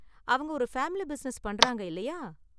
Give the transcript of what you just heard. அவங்க ஒரு family business பண்றாங்க இல்லையா?